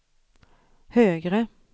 högre